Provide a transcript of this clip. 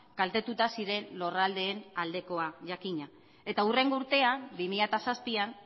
kaltetuta ziren lurraldeen aldekoa jakina eta hurrengo urtean bi mila zazpian